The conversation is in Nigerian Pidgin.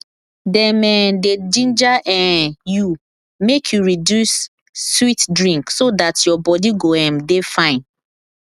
dem um dey ginger um you make you reduce sweet drink so dat your body go um dey fine